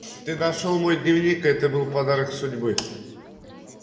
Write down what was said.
ты нашёл мой дневник и это был подарок судьбы